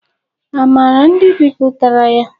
A maara ndị bipụtara ya?